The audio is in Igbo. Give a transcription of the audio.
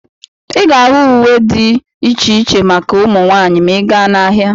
Ị ga-ahụ ụdị uwe dị iche iche maka ụmụ nwaanyị ma ị gaa n'ahịa.